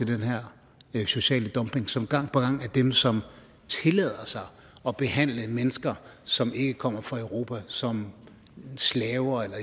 den her sociale dumping som gang på gang er dem som tillader sig at behandle mennesker som ikke kommer fra europa som slaver eller